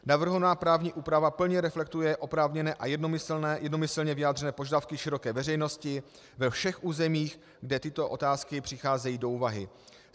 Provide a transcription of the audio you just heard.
Navrhovaná právní úprava plně reflektuje oprávněné a jednomyslně vyjádřené požadavky široké veřejnosti ve všech územích, kde tyto otázky přicházejí do úvahy.